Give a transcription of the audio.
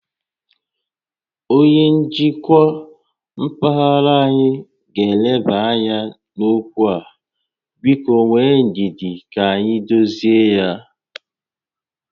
Onyé njikwa mpaghara anyị ga eleba ányá n'okwu a, biko nwee ndidi ka anyị dozie ya